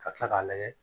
Ka kila k'a lajɛ